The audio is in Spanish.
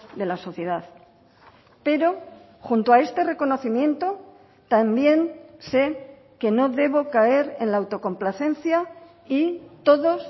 de la sociedad pero junto a este reconocimiento también sé que no debo caer en la autocomplacencia y todos